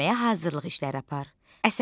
Dinləməyə hazırlıq işləri apar.